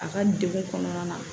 A ka degun kɔnɔna na